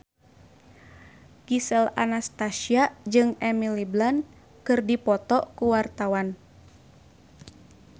Gisel Anastasia jeung Emily Blunt keur dipoto ku wartawan